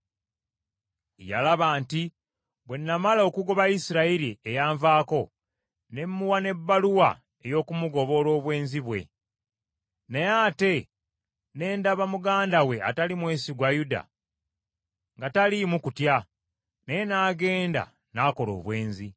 Yalaba nti bwe namala okugoba Isirayiri eyanvaako, ne muwa n’ebbaluwa ey’okumugoba olw’obwenzi bwe. Naye ate ne ndaba muganda we atali mwesigwa Yuda nga taliimu kutya, naye n’agenda n’akola obwenzi.